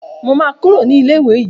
Mo máa Kúrò ní ilé ìwé yìí.